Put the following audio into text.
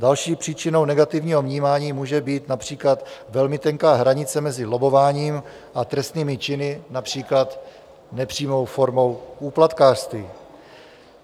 Další příčinou negativního vnímání může být například velmi tenká hranice mezi lobbováním a trestnými činy, například nepřímou formou úplatkářství.